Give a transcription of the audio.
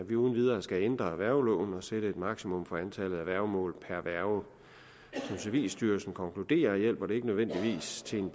vi uden videre skal ændre værgeloven og sætte et maksimum for antallet af værgemål per værge som civilstyrelsen konkluderer hjælper det ikke nødvendigvis til en